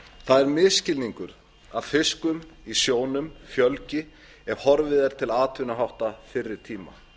það er misskilningur að fiski í sjónum fjölgi ef horfið er til atvinnuhátta fyrri tíma